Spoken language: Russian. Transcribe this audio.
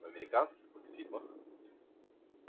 в американских мульфильмах